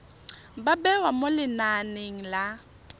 ba bewa mo lenaneng la